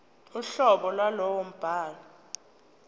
uhlobo lwalowo mbhalo